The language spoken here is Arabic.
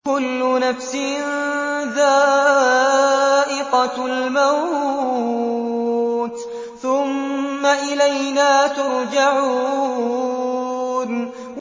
كُلُّ نَفْسٍ ذَائِقَةُ الْمَوْتِ ۖ ثُمَّ إِلَيْنَا تُرْجَعُونَ